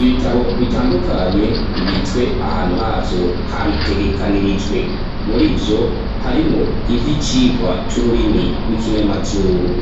ibitabo bitandukanye bibitswe ahantu havyo habitegekanirijwe murivyo harimwo ivyicigwa c'ururimi rw'ikinyamazuru.